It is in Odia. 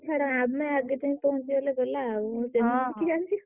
ଛାଡ ଆମେ ଆଗେ ଯାଇ ପହଁଞ୍ଚିଗଲେ ଗଲା ଆଉ ।